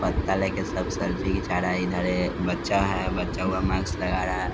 पत्ता लेके सब सेल्फी घीचा रहा है इधर बच्चा है बच्चा वह मास्क लगा रहा है।